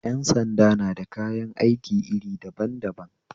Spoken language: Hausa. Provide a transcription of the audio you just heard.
Yan sanda na da kayan aiki iri daban daban